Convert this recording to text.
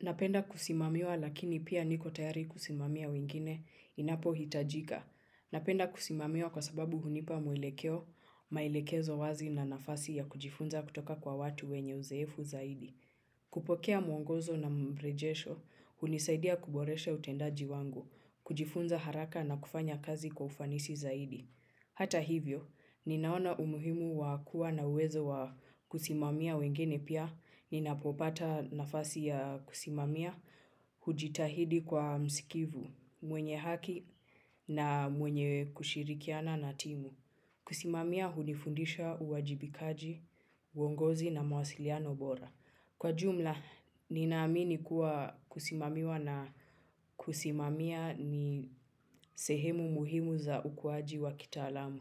Napenda kusimamiwa lakini pia niko tayari kusimamia wengine inapohitajika. Napenda kusimamiwa kwa sababu hunipa mwelekeo, maelekezo wazi na nafasi ya kujifunza kutoka kwa watu wenye uzoefu zaidi. Kupokea mwongozo na mrejesho hunisaidia kuboresha utendaji wangu kujifunza haraka na kufanya kazi kwa ufanisi zaidi. Hata hivyo, ninaona umuhimu wakuwa na uwezo wa kusimamia wengine pia, ninapopata nafasi ya kusimamia, hujitahidi kuwa musikivu, mwenye haki na mwenye kushirikiana na timu. Kusimamia hunifundisha uwajibikaji, uongozi na mawasiliano bora. Kwa jumla, ninaamini kuwa kusimamiwa na kusimamia ni sehemu muhimu za ukuaji wa kitaalamu.